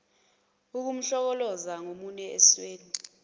ukumhlokoloza ngomunwe esweni